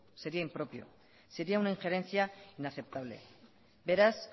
sería impropio sería una injerencia inaceptable beraz